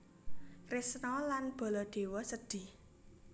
Kresna lan Baladewa sedhih